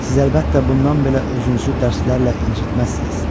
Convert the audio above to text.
Siz əlbəttə bundan belə özünüzü dərslərlə incitməzsiniz.